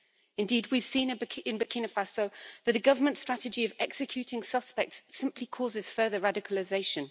Indeed, we've seen in Burkina Faso that the government strategy of executing suspects simply causes further radicalisation.